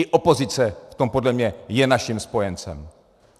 I opozice v tom podle mě je naším spojencem.